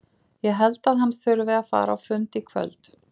Ég held að hann þurfi að fara á fund í kvöld.